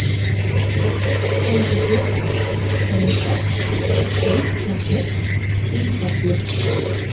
Uppgöngugil, Steinfell, Víknafjöll, Dýhjalli